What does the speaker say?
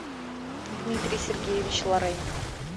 дмитрий сергеевич лорейн